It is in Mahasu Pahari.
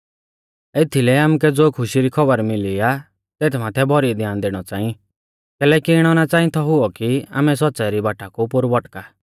एथीलै आमुकै ज़ो खुशी री खौबर मिली आ तेथ माथै भौरी ध्यान दैणौ च़ांई कैलैकि इणौ ना च़ांई थौ हुऔ कि आमै सौच़्च़ाई री बाटा कु पोरु भौटका